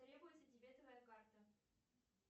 требуется дебетовая карта